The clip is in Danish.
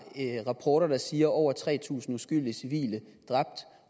rapporter der siger at over tre tusind uskyldige civile